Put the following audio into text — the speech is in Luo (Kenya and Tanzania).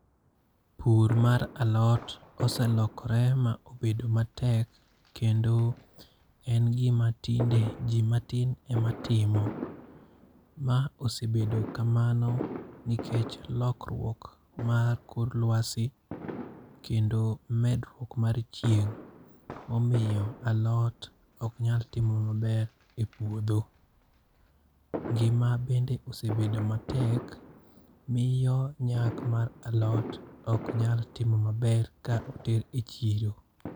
Pur mar alot oselokore ma obedo matek kendo en gima tinde ji matin ema timo. Ma osebedo kamano nikech lokruok mar kor lwasi. Kendo medruok mar chieng'. Omiyo alot ok nyal timo maber e puodho. Ngima bende osebedo matek, miyo nyak mar alot ok nyal timo maber ka oter e chiro.